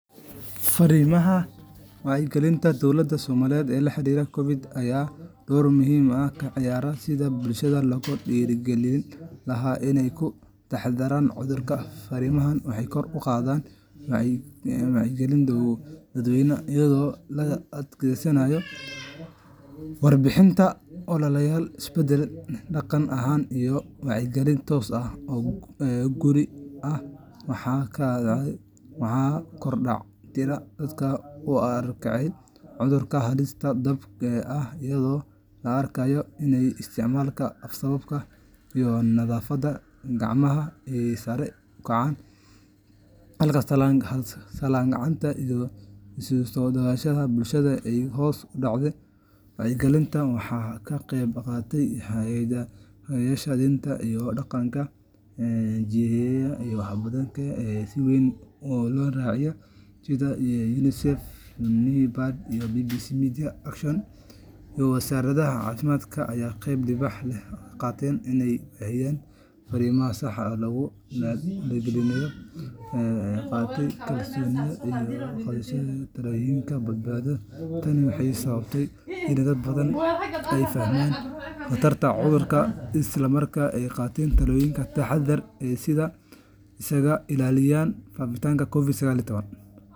Fariimaha wacyigelinta dowladda Soomaaliya ee la xiriiray COVID-19 ayaa door muhiim ah ka ciyaaray sidii bulshada loogu dhiirrigelin lahaa inay ka taxadaraan cudurka. Fariimahani waxay kor u qaadeen wacyiga dadweynaha iyada oo la adeegsaday warbaahinta, ololayaal isbeddel dhaqan ah, iyo wacyigelin toos ah oo guri-guri ah. Waxaa kordhay tirada dadka u arkayay cudurka halis dhab ah, iyadoo la arkay in isticmaalka af-saabka iyo nadaafadda gacmaha ay sare u kaceen, halka salaanta gacanta iyo isu-soo dhowaanshaha bulshada ay hoos u dhaceen. Wacyigelinta waxaa ka qeyb qaatay hogaamiyeyaasha diinta iyo dhaqanka, jilayaal, iyo warbaahin ay dadku si weyn u daawadaan sida raadiyaha iyo telefishinka. UNICEF, NAPAD, BBC Media Action iyo Wasaaradda Caafimaadka ayaa qeyb libaax leh ka qaatay in la baahiyo fariimo sax ah oo lagula dagaallamayo wararka been abuurka ah, taasoo sare u qaaday kalsoonida bulshada iyo qaadashada tallaabooyin badbaado. Tani waxay sababtay in dad badani ay fahmaan khatarta cudurka isla markaana ay qaataan tallaabooyin taxaddar ah si ay isaga ilaaliyaan faafitaanka COVID-19.